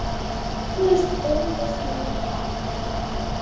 Eflaust bónda sínum kær.